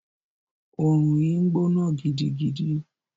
Òòrùn yìí ń gbóná gidigidi.